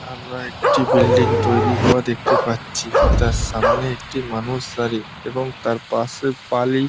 আমরা একটি বিল্ডিং তৈরি হওয়া দেখতে পাচ্ছি। তার সামনে একটি মানুষ দাঁড়িয়ে এবং তার পাশে বালি --